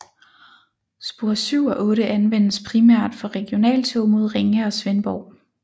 Spor 7 og 8 anvendes primært for regionaltog mod Ringe og Svendborg